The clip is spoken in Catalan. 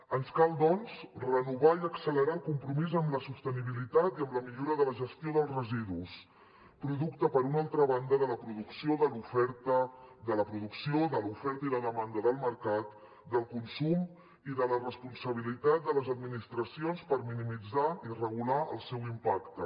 ens cal doncs renovar i accelerar el compromís amb la sostenibilitat i amb la millora de la gestió dels residus producte per una altra banda de la producció de l’oferta i la demanda del mercat del consum i de la responsabilitat de les administracions per minimitzar i regular el seu impacte